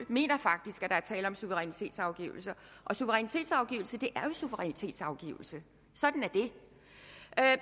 mener faktisk at der er tale om suverænitetsafgivelse og suverænitetsafgivelse suverænitetsafgivelse